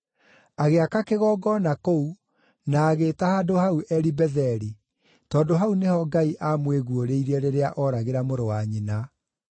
Agĩaka kĩgongona kũu, na agĩĩta handũ hau Eli-Betheli, tondũ hau nĩho Ngai aamwĩguũrĩirie rĩrĩa ooragĩra mũrũ wa nyina.